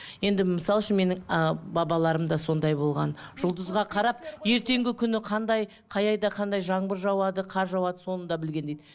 енді мысалы үшін менің ы бабаларым да сондай болған жұлдызға қарап ертеңгі күні қандай қай айда қандай жаңбыр жауады қар жауады соны да білген дейді